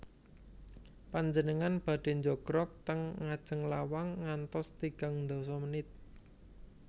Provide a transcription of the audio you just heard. Panjenengan badhe njogrog ten ngajeng lawang ngantos tigang ndasa menit